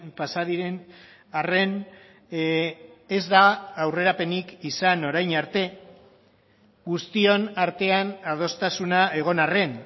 pasa diren arren ez da aurrerapenik izan orain arte guztion artean adostasuna egon arren